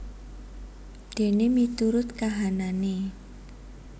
Dene miturut kahanane